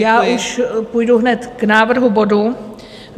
Já už půjdu hned k návrhu bodu.